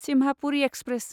Simhapuri express